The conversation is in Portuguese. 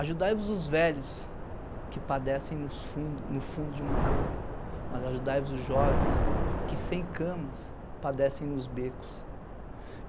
Ajudai-vos os velhos que padecem nos fundo no fundo de uma cama, mas ajudai-vos os jovens que sem camas padecem nos becos.